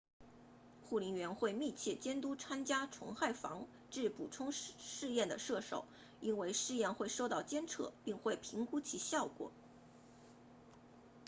护林员会密切监督参加虫害防治补充试验的射手因为试验会受到监测并会评估其效果